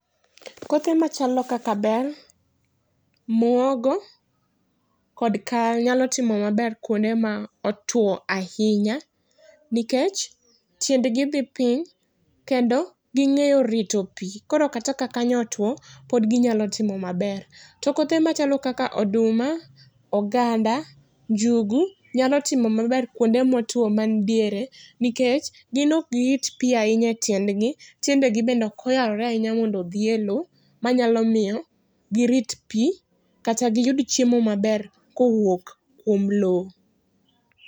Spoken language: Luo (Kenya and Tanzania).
Kothe machalo kaka bel, muogo, kod kal nyalo timo maber kuonde ma otwo ahinya nikech tiend gi dhi piny kendo ging'eyo rito pii koro kata ka kanyo otuo pod ginyalo timo maber. To kothe machalo kaka oduma, oganda, njugu nyalo timo maber kuonde motuo man diere nikech: gin ok girit pii ahinya e tiend gi tiendegi bende ok oyarore ahinya mondo odhi e lowo manyalo miyo girit pii kata giyud chiemo maber kowuok kuom lowo.